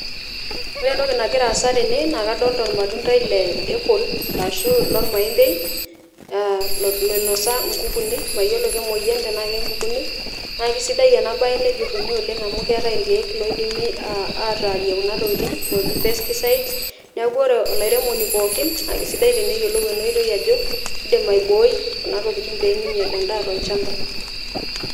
Ore entoki nagira aasa tene naa kadolita ormatuntai le apple arashu lormaembei aa loinosa nkukunik , mayiolo kemwoyiani tenaa kekunik naa kisidai ena bae nejuruni amu keetae irkieek loidimi ataarie kulo tokitin loji pesticides. Niaku olairemoni pookin naa kisidai teneyiolou ena oitoi ajo kidim aibooi kuna tokitin peminyial endaa tolchamba.